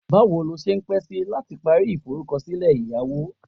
Bawo lo se pe si lati pari ise lori iforukosile eyawo?